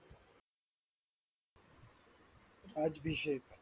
आज विशेष